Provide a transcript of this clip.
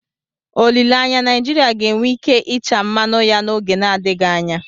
Olileanya, Naijiria ga-enwe ike ịcha mmanụ ya n'oge na-adịghị anya.